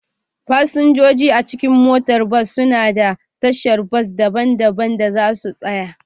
Fasinjoji a cikin motar bas suna da tashar bas daban-daban da za su tsaya